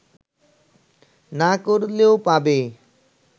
না করলেও পাবে